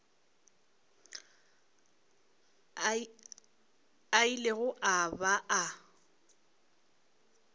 a ilego a ba a